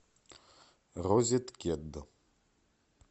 розеткед